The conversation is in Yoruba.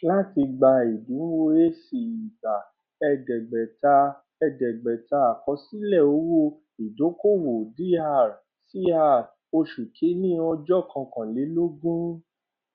láti gba ẹdínwó ac igba ẹẹdẹgbẹta ẹẹdẹgbẹta àkọsílẹ owó ìdókòwò dr cr oṣù kìíní ọjọ kọkànlélọgbọn